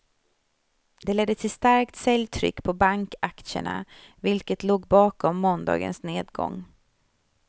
Det ledde till starkt säljtryck på bankaktierna vilket låg bakom måndagens nedgång.